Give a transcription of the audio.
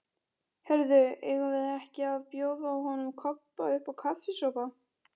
Heyrðu, eigum við ekki að bjóða honum Kobba uppá kaffisopa?